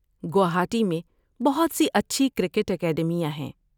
گوہاٹی میں بہت سی اچھی کرکٹ اکیڈمیاں ہیں۔